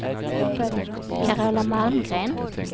Carola Malmgren